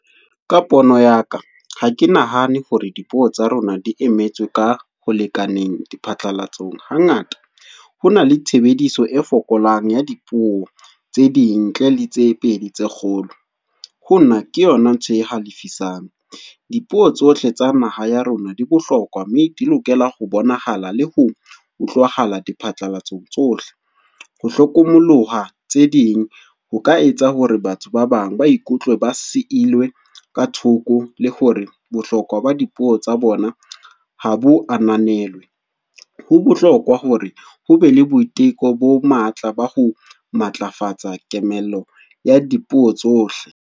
Ka pono ya ka, ha ke nahane hore dipuo tsa rona di emetswe ka ho lekaneng diphatlalatsong. Ha ngata, ho na le tshebediso e fokolang ya dipuo tse ding ntle le tse pedi tse kgolo. Ho nna, ke yona ntho e halifisang. Dipuo tsohle tsa naha ya rona di bohlokwa, mme di lokela ho bonahala le ho utlwahala di phatlalatsong tsohle. Ho hlokomolloha tse ding ho ka etsa hore batho ba bang ba ikutlwe ba silwe ka thoko le hore bohlokwa ba dipuo tsa bona ha bo ananelwe. Ho bohlokwa hore ho be le boiteko bo matla ba ho matlafatsa kemelo ya dipuo tsohle.